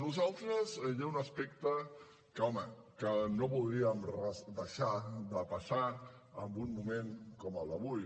nosaltres hi ha un aspecte que home que no voldríem deixar de passar en un moment com el d’avui